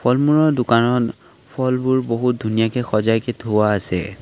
ফল মূলৰ দোকানত ফলবোৰ বহু ধুনীয়াকৈ সজাইকে থোৱা আছে।